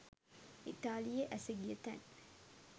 ඉතාලියේ ඇස ගිය තැන්